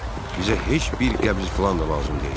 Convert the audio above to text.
Bizə heç bir qəbz filan da lazım deyil.